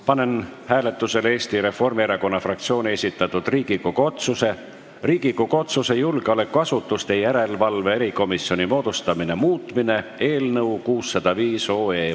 Panen hääletusele Eesti Reformierakonna fraktsiooni esitatud Riigikogu otsuse "Riigikogu otsuse "Julgeolekuasutuste järelevalve erikomisjoni moodustamine" muutmine" eelnõu 605.